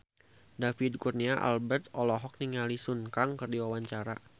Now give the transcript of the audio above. David Kurnia Albert olohok ningali Sun Kang keur diwawancara